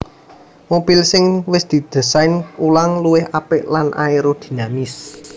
Mobil sing wis didésain ulang luwih apik lan aerodinamis